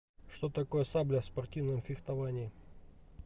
что такое сабля в спортивном фехтовании